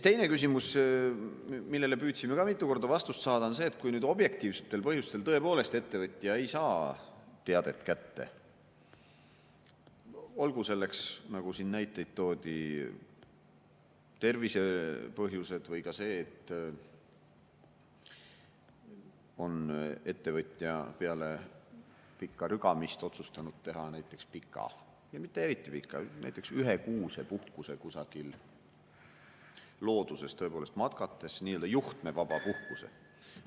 Teine küsimus, millele püüdsime ka mitu korda vastust saada, on see, et kui objektiivsetel põhjustel tõepoolest ettevõtja ei saa teadet kätte, olgu nendeks, nagu siin näiteid toodi, tervisepõhjused või ka see, et ettevõtja on peale pikka rügamist otsustanud teha näiteks pika või mitte eriti pika, näiteks ühekuuse puhkuse kusagil looduses matkates, nii-öelda juhtmevaba puhkuse.